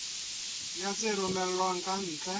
ya tse romellwang ka ntle